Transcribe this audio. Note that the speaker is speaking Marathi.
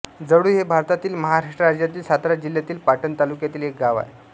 जळु हे भारतातील महाराष्ट्र राज्यातील सातारा जिल्ह्यातील पाटण तालुक्यातील एक गाव आहे